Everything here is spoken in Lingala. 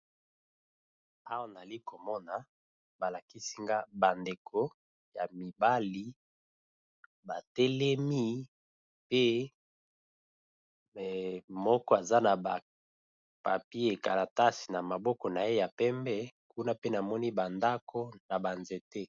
Awa nazali komona balakisinga bandeko ya mibali batelemi pe moko aza na bakalatasi na maboko naye yapembe kuna pe namoni banzete